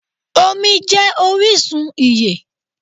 Omí jé orísun ìyè